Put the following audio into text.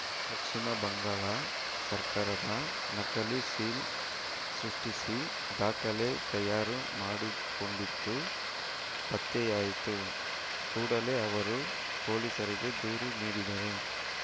ಪಶ್ಚಿಮ ಬಂಗಾಳ ಸರ್ಕಾರದ ನಕಲಿ ಸೀಲ್‌ ಸೃಷ್ಟಿಸಿ ದಾಖಲೆ ತಯಾರು ಮಾಡಿಕೊಂಡಿತ್ತು ಪತ್ತೆಯಾಯಿತು ಕೂಡಲೇ ಅವರು ಪೊಲೀಸರಿಗೆ ದೂರು ನೀಡಿದರು